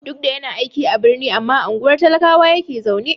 Duk da yana aiki a birni, amma a unguwar talakawa yake zaune.